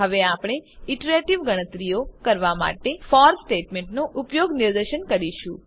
હવે આપણે ઈટરેટીવ ગણતરીઓ કરવા માટે ફોર સ્ટેટમેન્ટનો ઉપયોગ નિદર્શન કરીશું